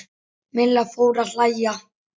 Milla fór að hlæja.